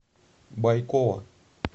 байкова